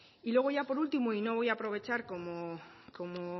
y luego ya por último y no voy a aprovechar como